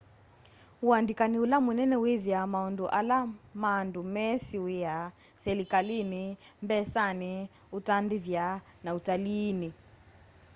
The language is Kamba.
uandĩkanĩ ũla mũnene wĩthĩa maũndũ ala ma andũ mesĩ wĩa selikalĩnĩ mbesanĩ ũtandĩthya na ũtaliinĩ